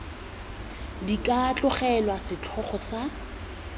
di ka tlogelwa setlhogo sa